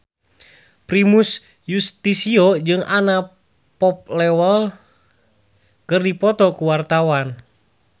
Primus Yustisio jeung Anna Popplewell keur dipoto ku wartawan